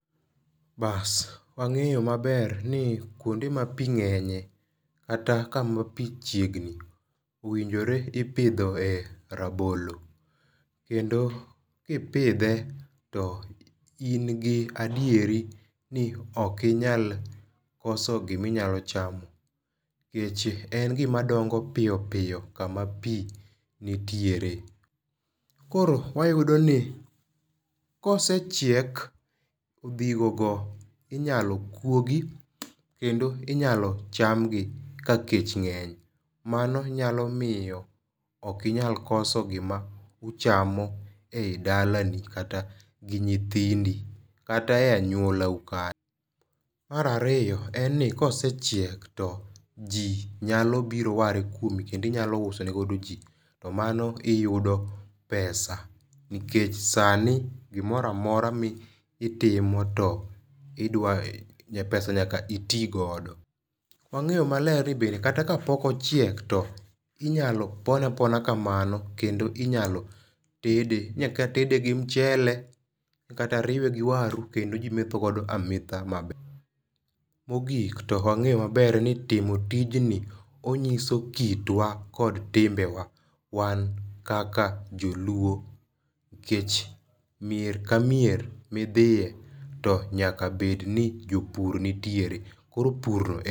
Bas wang'eyo ma ber ni kuonde ma pi ng'enye kata ka ma pi chiegni owinjore ipidhe e rabolo. Kendo ki ni pidhe to in gi adieri ni ok inyal koso gi ma inyalo chamo nikech en gi ma dongo piyo piyo kuma pi nitiere. Koro wayudo ni kosechiek gi go inya kuogi kendo inyalo cham gi ka kech ng'eny. Mano nyalo miyo ok inyal koso gima uchamo e i dalani kata gi nyithindi kata e aluora u kanyo. Mar ariyo en ni ka osechiek to ji nyalo biro ware kuom kendo inyalo usene godo ji to mano iuso pesa nikech sani gi moro amora ma itimo to idwa ni pesa to nyaka iti godo. Wang'eyo ma ber ni be kata ka pok ochiek be inyalo pone apona kamano kendo inyalo tede kata tede gi mchele kata riwe gi waru kendo ji metho godo ametha ma ber. To mogik to e wange ma ber ni timo tij i ong'iso kitwa kod timbewa wan kaka joluo kech mier ka mier mi idhiye nyaka bed ni jopur nitiere koro pur.